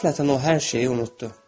Qəflətən o hər şeyi unutdu.